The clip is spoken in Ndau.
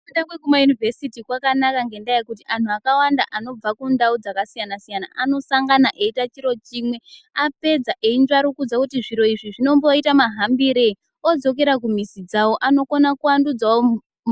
Kufunda kwekuma yunivhesiti kwakanaka ngendaa yekuti antu akawanda anobva kundau dzakasiyana siyana anosangana eyita chiro chimwe apedza eyinzvarukudza kuti zviro izvi zvinomboita mahambirenyi odzokera kumizi dzawo anokona kuvandudzawo